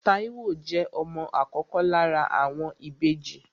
Táíwò jẹ́ ọmọ àkọ́kọ́ lára àwọn ìbejì